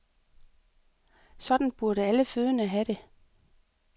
Sådan burde alle fødende have det.